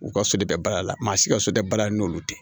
U ka so de bɛ baara la maa si ka so tɛ baara la n'olu tɛ